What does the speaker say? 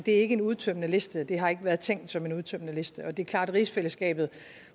er ikke en udtømmende liste og det har ikke været tænkt som en udtømmende liste og det er klart at rigsfællesskabet